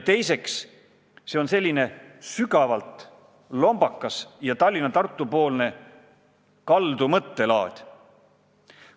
Teiseks, see on selline sügavalt lombakas Tallinna-Tartu poole kaldu mõttelaad.